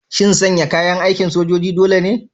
Shin sanya kayan aikin sojoji dole ne?